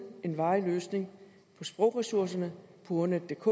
en varig løsning på sprogressourcerne på ordnetdk